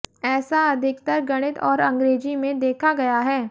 ऐसा अधिकतर गणित और अंग्रेजी में देखा गया है